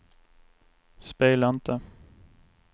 spela inte